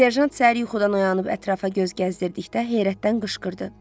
Serjant səhər yuxudan oyanıb ətrafa göz gəzdirdikdə heyrətdən qışqırdı.